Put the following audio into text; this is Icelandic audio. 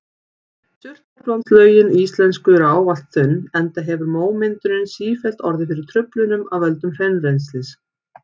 Surtarbrandslögin íslensku eru ávallt þunn enda hefur mómyndunin sífellt orðið fyrir truflunum af völdum hraunrennslis.